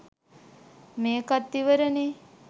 මේකත් ඉවරනේ